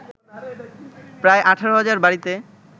প্রায় ১৮ হাজার বাড়িতে